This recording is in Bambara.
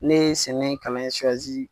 Ne ye sɛnɛ kalan in